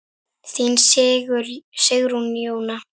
Þín Sigrún Jóna.